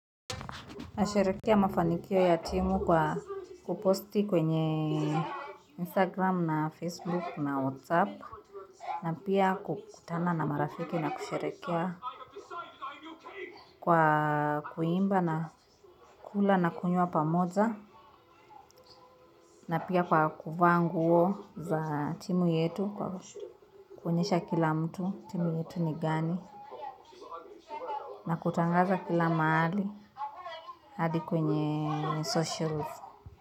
Nasherekea mafanikio ya timu kwa kuposti kwenye Instagram na Facebook na WhatsApp. Na pia kukutana na marafiki na kusherekea kwa kuimba na kula na kunywa pamoja. Na pia kwa kuvaa nguo za timu yetu kwa kuonyesha kila mtu timu yetu ni gani. Na kutangaza kila mahali hadi kwenye socials.